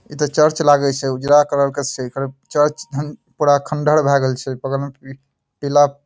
इ ते चर्च लागे छै उजला कलर के छै एकर चर्च एहन पूरा खंडहर भैए गेल छै बगल में पीला --